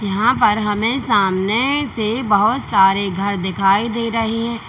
यहां पर हमें सामने से बहुत सारे घर दिखाई दे रही हैं।